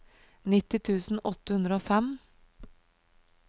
nitti tusen åtte hundre og fem